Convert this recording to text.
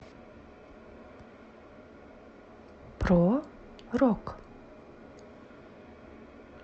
про рок